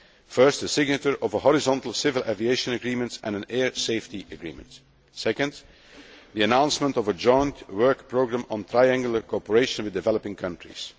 deliver. First, the signature of a horizontal civil aviation agreement and an air safety agreement. Second, the announcement of a joint work programme on triangular cooperation with developing countries.